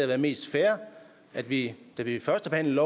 været mest fair at vi da vi førstebehandlede